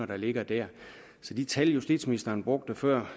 der ligger der så de tal justitsministeren brugte før